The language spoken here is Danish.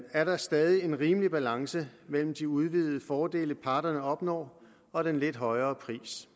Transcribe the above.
er der stadig en rimelig balance mellem de udvidede fordele parterne opnår og den lidt højere pris